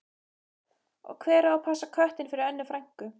Og hver á að passa köttinn fyrir Önnu frænku?